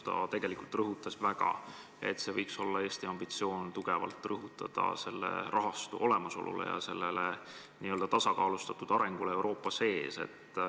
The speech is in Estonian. Ta kinnitas, et Eesti ambitsioon võiks olla tugevalt panustada selle rahastu olemasolule ja n-ö tasakaalustatud arengule Euroopa sees.